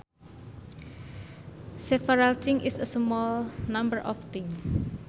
Several things is a small number of things